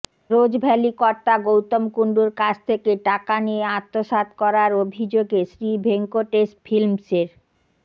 রোজ valley কর্তা গৌতম কুণ্ডুর কাছ থেকে টাকা নিয়ে আত্মসাৎ করার অভিযোগে শ্রীভেঙ্কটেশ ফিল্মসের